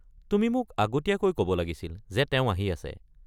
তুমি মোক আগতীয়াকৈ ক'ব লাগিছিল যে তেওঁ আহি আছে।